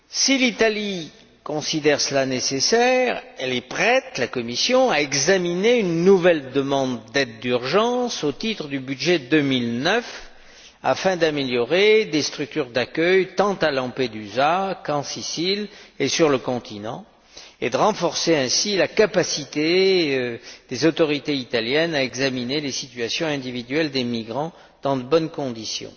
Si l'Italie considère cela nécessaire, la Commission est prête à examiner une nouvelle demande d'aide d'urgence au titre du budget 2009, afin d'améliorer des structures d'accueil tant à Lampedusa qu'en Sicile et sur le continent, et de renforcer ainsi la capacité des autorités italiennes à examiner les situations individuelles des migrants dans de bonnes conditions.